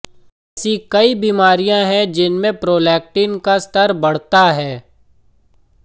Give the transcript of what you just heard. ऐसी कई बीमारियां हैं जिनमें प्रोलैक्टिन का स्तर बढ़ता है